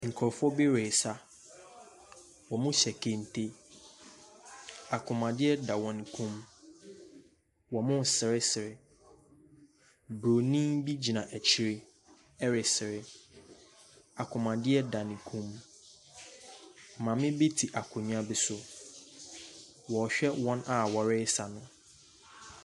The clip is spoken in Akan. Nkurɔfoɔ bi resa, wɔfura kente, kɔnmuadeɛ da wɔn kɔn mu, wɔresere. Bronin bi gyina akyire ɛresere, kɔnmuadeɛ da ne kɔn mu. Maame bi te akonnwa bi so, wɔrehwɛ wɔn a wɔresa no.